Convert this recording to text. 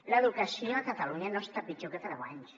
l’educació a catalunya no està pitjor que fa deu anys